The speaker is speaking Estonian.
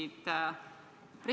Nii et nad ei saanudki midagi öelda.